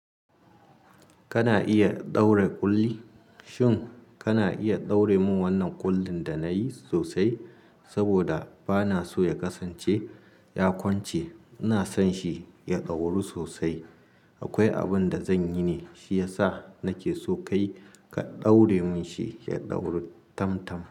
Kana iya ɗaure ƙulli? Shin kana iya ɗaure min wannan ƙullin da nayi sosai? Saboda ba naso ya kasance ya kwance. Ina sonshi ya ɗauru sosai. Akwai abin da zanyi ne, shiyasa nake so kai ka ɗaure min shi ya ɗauru tam-tam.